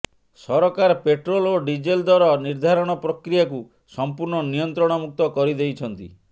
ସରକାର ପେଟ୍ରୋଲ ଓ ଡିଜେଲ ଦର ନିର୍ଧାରଣ ପ୍ରକ୍ରିୟାକୁ ସମ୍ପୂର୍ଣ୍ଣ ନିୟନ୍ତ୍ରଣମୁକ୍ତ କରିଦେଇଛନ୍ତି